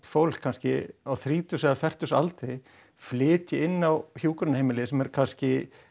fólk kannski á þrítugs eða fertugs aldri flytji inn á hjúkrunarheimili sem eru kannski